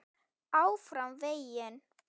ÁFRAM VEGINN.